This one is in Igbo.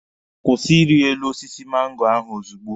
Kwụsị iri elu osisi mango ahụ ozugbo!